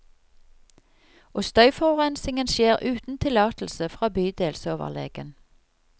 Og støyforurensingen skjer uten tillatelse fra bydelsoverlegen.